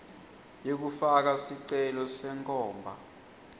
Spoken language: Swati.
yekufaka sicelo senkhomba